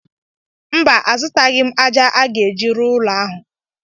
Mba, azutaghị m ájá a ga-eji rụọ ụlọ ahụ.